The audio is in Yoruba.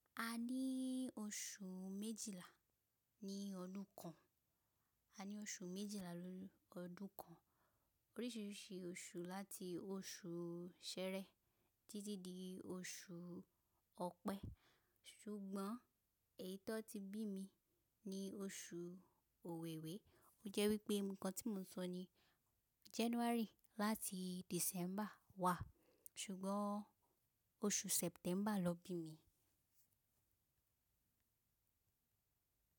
A ní oṣù méjìlá ní ọdún kan. A ní oṣù méjìlá nínu ọdún kan. Oríṣìíríṣìí oṣù láti oṣù Ṣẹẹrẹ títí di oṣù Ọ̀pẹ. Sùgbọ́n èyi tiwòn ti bí mi ní oṣù Òwewé. Ó jẹ́ wípé ǹnkan tí mo sọ ni January láti December wà. Sùgbọ́n oṣù September lọ bí mi.